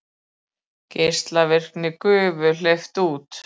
Geislavirkri gufu hleypt út